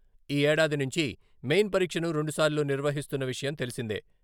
ఈ ఏడాది నుంచి మెయిన్ పరీక్షను రెండుసార్లు నిర్వహిస్తున్న విషయం తెలిసిందే.